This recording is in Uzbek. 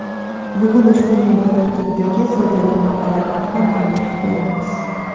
Bugun ushbu meva tarkibidagi foydali moddalar haqida ma’lumot beramiz.